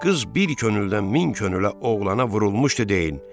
Qız bir könüldən min könülə oğlana vurulmuşdu deyin.